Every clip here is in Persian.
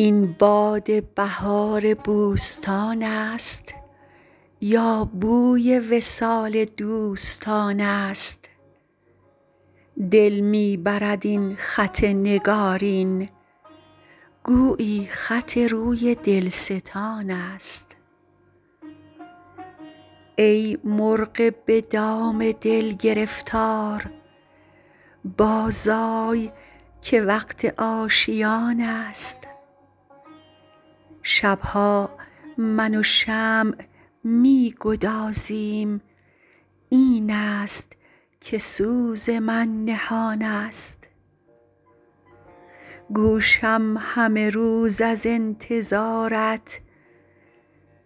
این باد بهار بوستان است یا بوی وصال دوستان است دل می برد این خط نگارین گویی خط روی دلستان است ای مرغ به دام دل گرفتار بازآی که وقت آشیان است شب ها من و شمع می گدازیم این است که سوز من نهان است گوشم همه روز از انتظارت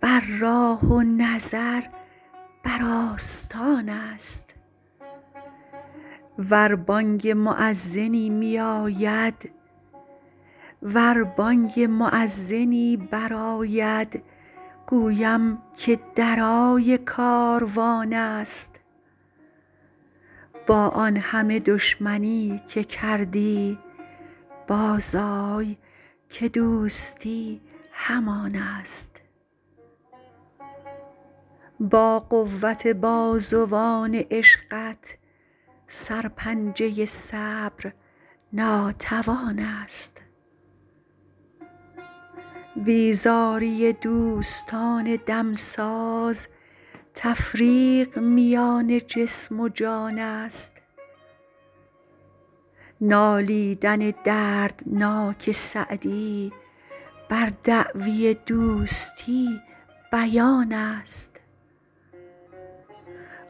بر راه و نظر بر آستان است ور بانگ مؤذنی میاید گویم که درای کاروان است با آن همه دشمنی که کردی بازآی که دوستی همان است با قوت بازوان عشقت سرپنجه صبر ناتوان است بیزاری دوستان دمساز تفریق میان جسم و جان است نالیدن دردناک سعدی بر دعوی دوستی بیان است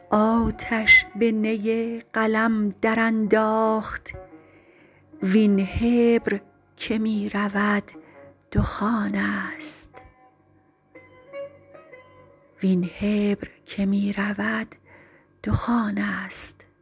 آتش به نی قلم درانداخت وین حبر که می رود دخان است